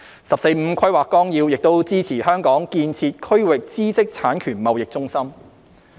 《十四五規劃綱要》亦支持香港建設區域知識產權貿易中心。